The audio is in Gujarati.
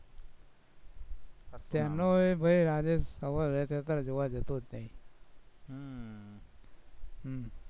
ત્યાંનો એ ભાઈ ફરવા જતો જ નઈ